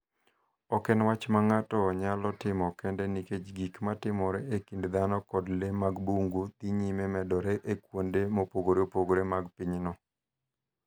Ok en wach ma ng�ato nyalo timo kende nikech gik ma timore e kind dhano kod le mag bungu dhi nyime medore e kuonde mopogore opogore mag pinyno.